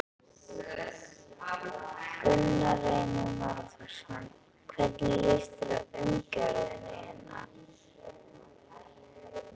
Gunnar Reynir Valþórsson: Hvernig líst þér á umgjörðina hérna?